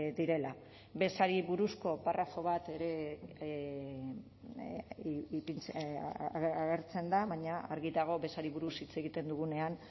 direla bezari buruzko parrafo bat ere agertzen da baina argi dago bezari buruz hitz egiten dugunean